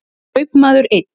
Kaupmaður einn.